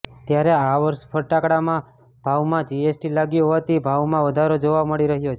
ત્યારે આ વર્ષે ફટાકડામાં ભાવમાં જીએસટી લાગ્યું હોવાથી ભાવમાં વધારો જોવા મળી રહ્યો છે